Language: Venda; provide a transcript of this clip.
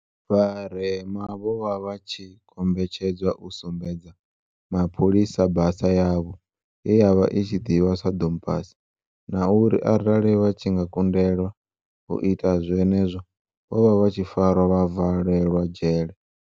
Vharema vho vha vha tshi kombetshedzwa u sumbedza mapholisa basa yavho ye ya vha i tshi ḓivhiwa sa dompas na uri arali vha tshi nga kundelwa u ita zwenezwo, vho vha vha tshi farwa vha valelwa dzhele.